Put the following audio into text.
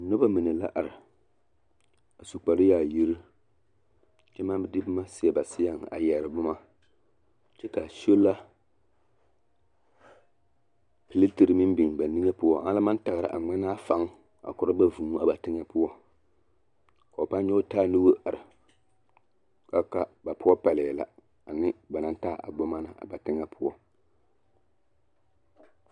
Noba mine la are a su kparyaayirii kyɛ maŋ de boma seɛ ba seɛŋ a yɛre boma kyɛ ka sola piletere meŋ biŋ ba niŋe poɔ ana la maŋ taɡra a ŋmenaa faŋ korɔ ba vūū a ba teŋɛ poɔ ka ba nyɔɡe taa nuuri are ka a wuli ka ba poɔ pɛlɛɛ la ane ba naŋ taa a boma na ba teŋɛ poɔ.